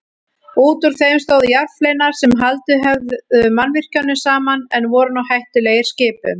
Útúr þeim stóðu járnfleinar sem haldið höfðu mannvirkjunum saman en voru nú hættulegir skipum.